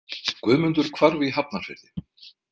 Guðmundur hvarf í Hafnarfirði.